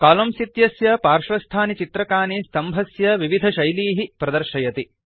column इत्यस्य पार्श्वस्थानि चित्रकानि स्तम्भस्य विविधशैलीः प्रदर्शयति